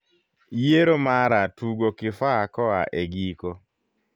yiero mara tugo kifaa koa e giko